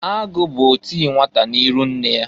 Agụụ bụ oti nnwata n'iru nne ya.